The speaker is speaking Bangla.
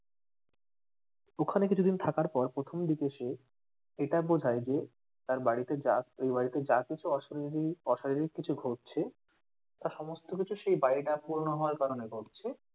ওখানে কিছুদিন থাকার পর প্রথম দিকে সে এটা বোঝায় যে তার বাড়িতে ওই বাড়িতে যা কিছু অশরিরি অশারীরিক কিছু ঘটছে তা সমস্ত কিছু সেই বাড়িটা পুরোনো হওয়ার কারণে ঘটছে